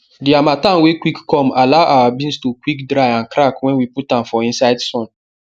the harmattan wey quick come allow our beans to quick dry and crack when we put am for inside sun